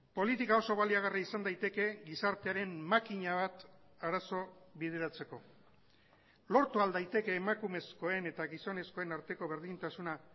politika oso baliagarria izan daiteke gizartearen makina bat arazo bideratzeko lortu ahal daiteke emakumezkoen eta gizonezkoen arteko berdintasuna